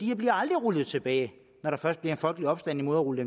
her bliver aldrig rullet tilbage når der først bliver en folkelig opstand imod at rulle